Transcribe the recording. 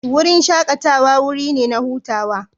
Wurin shakatawa wuri ne na hutawa.